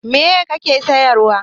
Meye kake siyarwa?